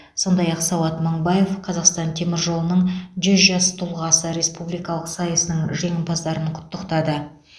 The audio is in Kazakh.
сондай ақ сауат мыңбаев қазақстан темір жолының жүз жас тұлғасы республикалық сайысының жеңімпаздарын құттықтады